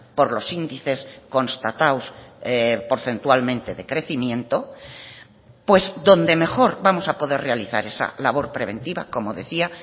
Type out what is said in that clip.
por los índices constatados porcentualmente de crecimiento pues donde mejor vamos a poder realizar esa labor preventiva como decía